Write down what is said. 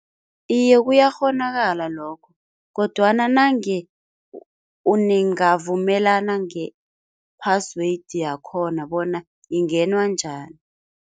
Iye kuyakghonakala lokho kodwana nange ningavumelana nge-password yakhona bona ingenwa njani.